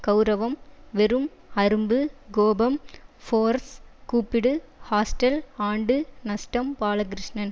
கெளரவம் வெறும் அரும்பு கோபம் ஃபோர்ஸ் கூப்பிடு ஹாஸ்டல் ஆண்டு நஷ்டம் பாலகிருஷ்ணன்